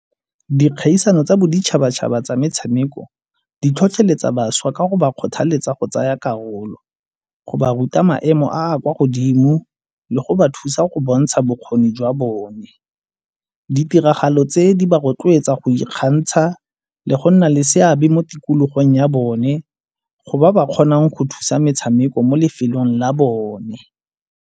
Dikgaisano tsa boditšhabatšhaba tsa metshameko di tlhotlheletsa bašwa ka go ba kgothaletsa go tsaya karolo, go ba ruta maemo a kwa godimo le go ba thusa go bontsha bokgoni jwa bone. Ditiragalo tse di ba rotloetsa go ikgantsha le go nna le seabe mo tikologong ya bone, go ba ba kgonang go thusa metshameko mo lefelong la bone.